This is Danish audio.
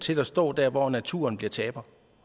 til at stå der hvor naturen bliver taberen